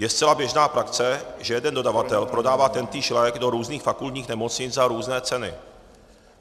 Je zcela běžná praxe, že jeden dodavatel prodává tentýž lék do různých fakultních nemocnic za různé ceny.